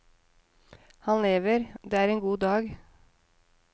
Han lever, og det er en god dag.